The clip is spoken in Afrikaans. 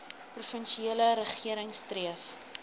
provinsiale regering streef